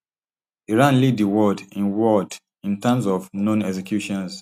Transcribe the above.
iran lead di world in world in terms of known executions